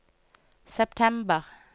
september